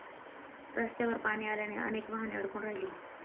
रस्त्यावर पाणी आल्याने अनेक वाहने अडकून राहिली.